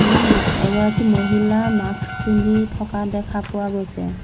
এগৰাকী মহিলা মাক্স পিন্ধি থকা দেখা পোৱা গৈছে।